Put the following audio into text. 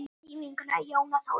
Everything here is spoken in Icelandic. Þín vinkona Jóna Þórunn.